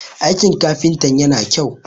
aikin kafintan yana kyau?